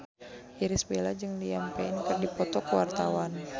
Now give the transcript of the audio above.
Irish Bella jeung Liam Payne keur dipoto ku wartawan